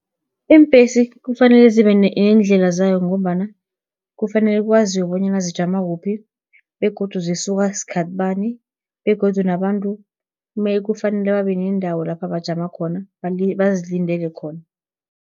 Iimbhesi kufanele zibenendlela zayo, ngombana kufanele kwaziwe bonyana zijama kuphi, begodu zisuka skhathi bani, begodu nabantu kufanele babenendawo lapha bajama khona bazilindele khona.